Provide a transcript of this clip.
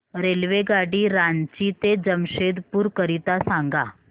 रेल्वेगाडी रांची ते जमशेदपूर करीता सांगा